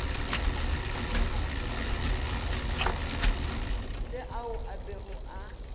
le ao a bego a